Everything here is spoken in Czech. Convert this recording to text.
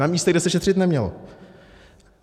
Na místech, kde se šetřit nemělo.